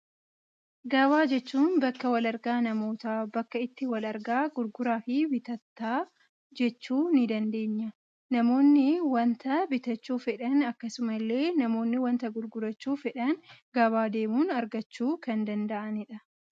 Gabaa jechuun bakka wal argaa namoota, bakka itti wal argaa gurguraa fi bitataa jechuu ni dandeenya. Namoonni waanta bitachuu fedhan, akkasuma illee namoonni waanta gurgurachuu fedhan gabaa deemuun argachuu kan danda'anidha.